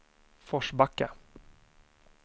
Forsbacka